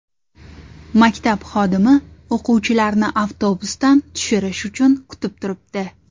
Maktab xodimi o‘quvchilarni avtobusdan tushirish uchun kutib turibdi.